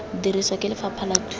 dirisiwa ke lefapha la thuto